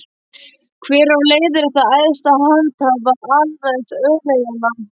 Hver á að leiðrétta æðsta handhafa alræðis öreiganna?